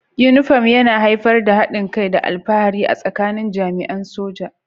Uniform yana haifar da haɗin kai da alfahari a tsakanin jami'an soja